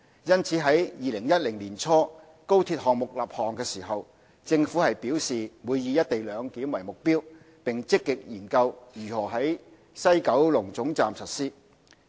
因此，在2010年年初高鐵項目立項時，政府表示會以"一地兩檢"為目標，並積極研究如何在西九龍總站實施。